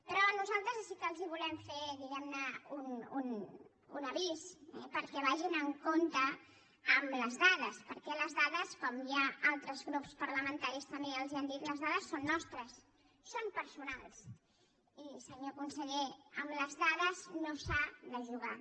però nosaltres sí que els volem fer diguemne un avís perquè vagin amb compte amb les dades perquè les dades com ja altres grups parlamentaris també ja els han dit són nostres són personals i senyor conseller amb les dades no s’ha de jugar